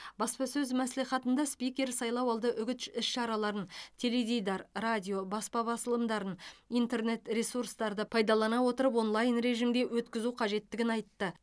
баспасөз мәслихатында спикер сайлауалды үгіт іш іс шараларын теледидар радио баспа басылымдарын интернет ресурстарды пайдалана отырып онлайн режимде өткізу қажеттігін айтты